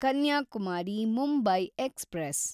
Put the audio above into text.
Kanyakumari Mumbai express